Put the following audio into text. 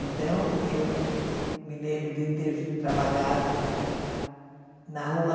Então, eu me lembro de ter trabalhado na rua...